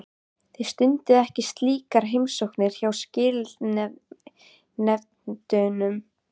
Þið stundið ekki slíkar heimsóknir hjá skilanefndunum?